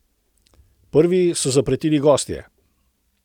Prvi so zapretili gostje.